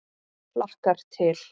Hlakkar til.